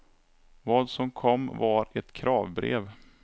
Vad som kom var ett kravbrev.